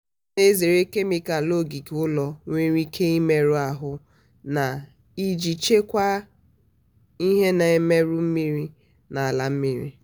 ọ na-ezere kemịkalụ ogige ụlọ nwere ike imerụ ahụ na iji chekwaa ihe na-emerụ mmiri na ala mmiri.